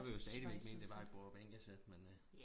Jeg vil jo stadigvæk mene det er et bordbænkesæt men